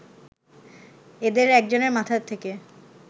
এদের একজনের মাথা থেকে